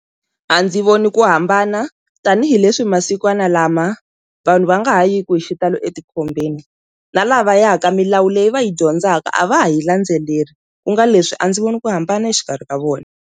A ndzi voni ku hambana tanihileswi masikwana lama vanhu va nga ha yi ku hi xitalo etikhombeni, na lava yaka milawu leyi va yi dyondzaka a va ha yi landzeleli ku nga leswi a ndzi voni ku hambana exikarhi ka vona.